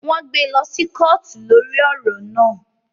Wọn gbé lọ sí kootu lórí ọrọ náà